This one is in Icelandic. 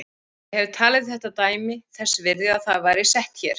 Ég hef talið þetta dæmi þess virði að það væri sett hér.